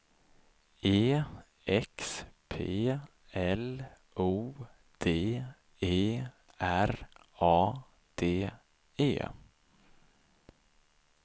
E X P L O D E R A D E